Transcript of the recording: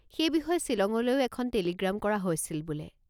সেই বিষয়ে ছিলঙলৈও এখন টেলিগ্ৰাম কৰা হৈছিল বোলে।